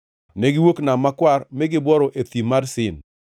Negiwuok Nam Makwar mi gibworo e Thim mar Sin.